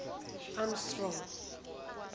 amstrong